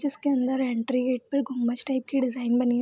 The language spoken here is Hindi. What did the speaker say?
जिसके अन्दर एंट्री गेट पे घुम्मच टाइप की डिज़ाइन बनी --